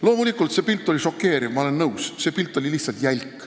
Loomulikult, see pilt oli šokeeriv, ma olen nõus, see pilt oli lihtsalt jälk.